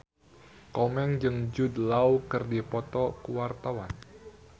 Komeng jeung Jude Law keur dipoto ku wartawan